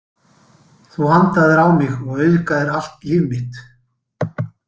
Þú andaðir á mig og augðaðir allt líf mitt.